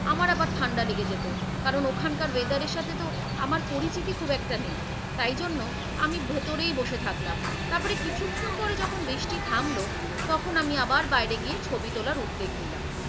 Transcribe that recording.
আমার আবার ঠান্ডা লেগে যেতো কারণ ওখানকার weather এর সাথে তো আমার পরিচিতি খুব একটা নেই। তাই জন্য আমি ভেতরেই বসে থাকলাম তারপরে কিছুক্ষণ পরে যখন বৃষ্টি থামল তখন আমি আবার বাইরে গিয়ে ছবি তোলার উদ্বেগ নিলাম।